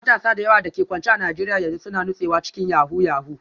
Matasa da yawa da ke kwance a Najeriya yanzu suna nutsewa cikin yahoo yahoo